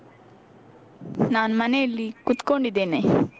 ನಾನ್ ಮನೆಯಲ್ಲಿ ಕುತ್ಕೊಂಡಿದ್ದೇನೆ.